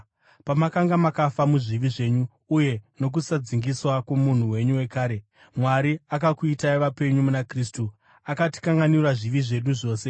Pamakanga makafa muzvivi zvenyu uye nokusadzingiswa kwomunhu wenyu wekare, Mwari akakuitai vapenyu muna Kristu. Akatikanganwira zvivi zvedu zvose,